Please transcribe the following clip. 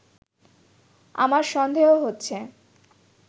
আমার সন্দেহ হচ্ছে